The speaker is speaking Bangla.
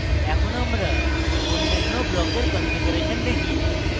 এখন আমরা অন্যান্য ব্লকের কনফিগারেশন দেখি